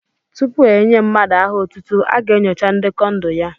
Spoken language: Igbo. Tupu e nyé mmadụ aha otútú, a ga-enyocha ndekọ ndụ ya